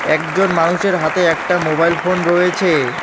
একজন মানুষের হাতে একটা মোবাইল ফোন রয়েছে।